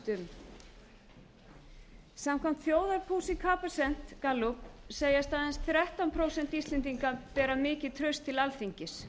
um samkvæmt þjóðarpúlsi capacent gallup segjast aðeins þrettán prósent íslendinga bera mikið traust til alþingis